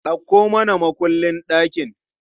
Dauko mana mukullin ɗakin!